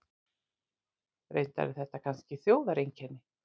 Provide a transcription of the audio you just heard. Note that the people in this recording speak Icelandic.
Reyndar er þetta kannski þjóðareinkenni.